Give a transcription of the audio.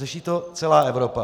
Řeší to celá Evropa.